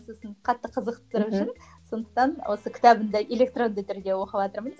сосын қатты қызықтыру үшін сондықтан осы кітабын да электронды түрде оқыватырмын